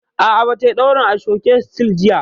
A'a, ba ta yi ɗaurin ashoke sityl jiya